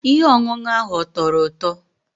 Ihe ọṅụṅụ ahụ ọ tọrọ ụtọ?